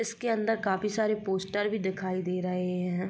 इसके अंदर काफी सारे पोस्टर भी दिखाई दे रहे हैं।